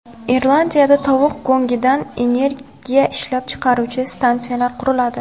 Irlandiyada tovuq go‘ngidan energiya ishlab chiqaruvchi stansiyalar quriladi.